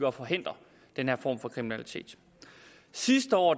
og forhindre den her form for kriminalitet sidste år